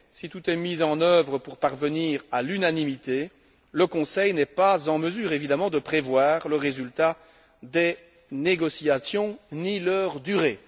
Si tout est mis en œuvre pour parvenir à l'unanimité, le Conseil n'est pas en mesure de prévoir le résultat des négociations ni leur durée.